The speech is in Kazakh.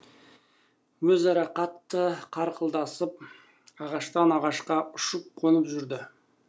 өзара қатты қарқылдасып ағаштан ағашқа ұшып қонып жүрді